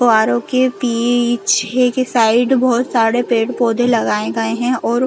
फव्वारों के बिच एक साइड बहुत सारे पेड़ - पौधे लगाए गये है और --